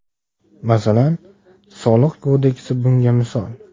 Masalan, Soliq kodeksi bunga misol.